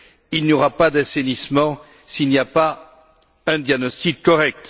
Il n'y aura pas d'assainissement s'il n'y a pas un diagnostic correct.